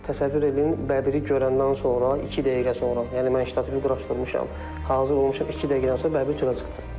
Təsəvvür eləyin, bəbiri görəndən sonra iki dəqiqə sonra, yəni mən ştatifi quraşdırmışam, hazır olmuşam, iki dəqiqədən sonra bəbir çölə çıxdı.